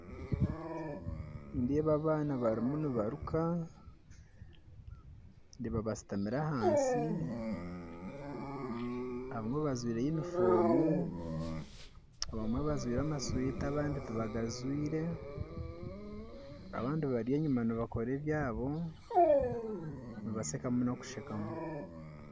Nindeeba abaana barimu nibaruka ndeeba bashutamire hansi abamwe bajwaire yunifoomu abamwe bajwaire masweta abandi tibagajwaire abandi bari enyuma nibakora ebyabo nibashekamu nokushekamu